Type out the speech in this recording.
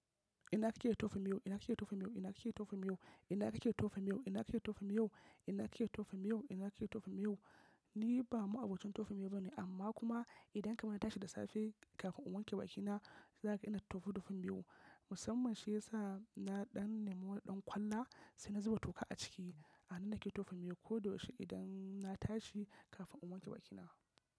Ina kike tofa miyau? Ina kike tofs miyau? Ina kike tofa miyau? Ina kike tofi maiyo? Ina kike tofi maiyo? Ina kake tofa miyau? Ina kake tofa miyau? Ni ba ma'abocin tofa miyau bane amma kuma idan kamar na tashi da safe kafin in wanke bakina, za ka ga ina tofa tofan miyau. Musamman shi yasa na ɗan nema wani ɗan kwalla sai na zuba toƙa a ciki. A nan nake tofa miyau ko da yaushe idan na tashi kafin in wanke bakina.